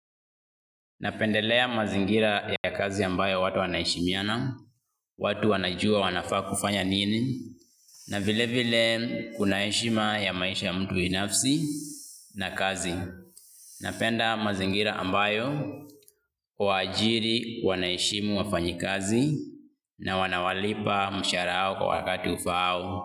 Napendelea mazingira ya kazi ambayo watu wanaheshimiana, watu wanajua wanafaa kufanya nini, na vile vile kuna heshima ya maisha ya mtu binafsi na kazi. Napenda mazingira ambayo waajiri wanaheshimu wafanyi kazi na wanawalipa mshahara yao kwa wakati ufaao.